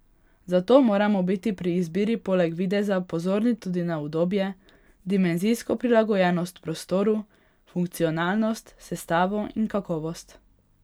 Zato moramo biti pri izbiri poleg videza pozorni tudi na udobje, dimenzijsko prilagojenost prostoru, funkcionalnost, sestavo in kakovost.